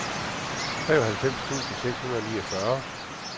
treoghalvfems tusind seks hundrede og niogfyrre